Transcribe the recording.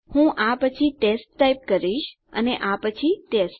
હું આ પછી ટેસ્ટ ટાઈપ કરીશ અને આ પછી ટેસ્ટ